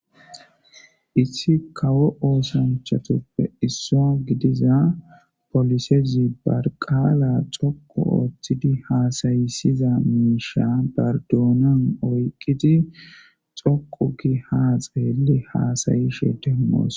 Issi kawo oosanchatuppe isso gidiza polisezi barqaala coqu ooththidi haasayisiza miisha bardoonan oyqqidi xoqu gi haxeelli haasayi she demmoos.